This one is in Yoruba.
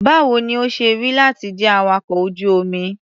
Báwo ni ó ṣe rí láti jẹ́ awakọ̀ ojú-omi?